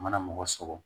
Mana mɔgɔ sɔgɔ